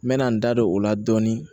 N mɛna n da don o la dɔɔnin